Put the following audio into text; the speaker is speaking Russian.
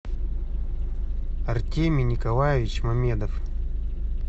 артемий николаевич мамедов